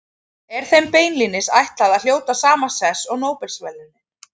Er þeim beinlínis ætlað að hljóta sama sess og Nóbelsverðlaunin.